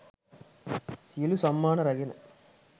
සියලු සම්මාන රැගෙන